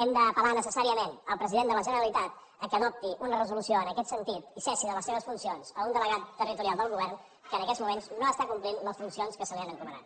hem d’apel·lar necessàriament al president de la generalitat perquè adopti una resolució en aquest sentit i cessi de les seves funcions un delegat territorial del govern que en aquests moments no està complint les funcions que se li han encomanat